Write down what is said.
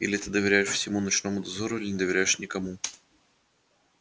или ты доверяешь всему ночному дозору или не доверяешь никому